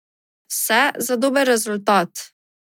Vse za dober rezultat.